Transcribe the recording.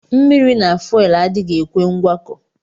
Mmiri na fuelu adighi ekwe ngwakọ.